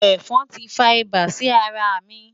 Ẹ̀fọn tí fa ibà sí ara mi.